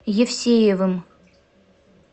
евсеевым